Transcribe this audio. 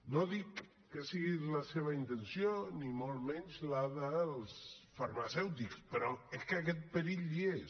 no dic que sigui la seva intenció ni molt menys la dels farmacèutics però és que aquest perill hi és